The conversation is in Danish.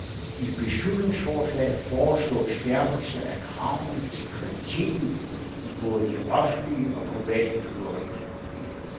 I beslutningsforslaget foreslås skærpelse af kravene til kvaliteten i både det offentlige og private byggeri.